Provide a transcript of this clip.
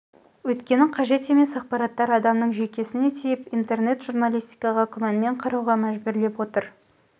өйткені қажет емес ақпараттар адамның жүйкесін тиіп интернет журналистикаға күмәнмен қарауға мәжбүрлеп отыр